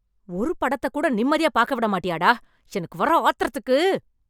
ஒரு படத்தை கூட நிம்மதியா பார்க்க விட மாட்டியா டா. எனக்கு வர ஆத்திரத்துக்கு